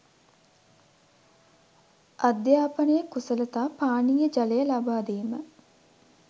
අධ්‍යාපනය කුසලතා පානීය ජලය ලබාදීම